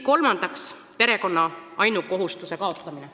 Kolmandaks, perekonna ainukohustuse kaotamine.